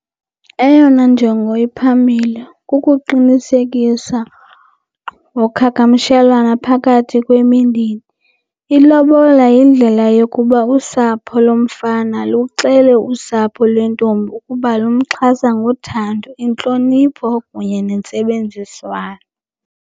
Eyona njongo iphambile kukuqinisekisa ngoqhagamshelana phakathi kwemindeni. Ilobola yindlela yokuba usapho lomfana luxele usapho lwentombi ukuba lumxhasa ngothando, intlonipho kunye nentsebenziswano.